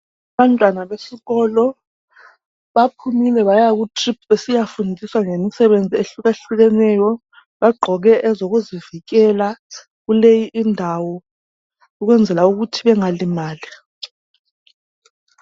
Abantwana besikolo baphumile baya kutrip besiyafundiswa ngemisebenzi ehlukahlukeneyo. Bagqoke ezokuzivikela kuleyi indawo ukwenzela ukuthi bengalimali.